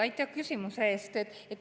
Aitäh küsimuse eest!